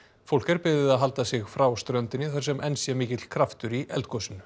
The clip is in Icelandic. fólk er beðið að halda sig frá ströndinni þar sem enn sé mikill kraftur í eldgosinu